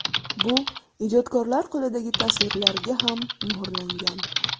Bu ijodkorlar qo‘lidagi tasvirlarga ham muhrlangan.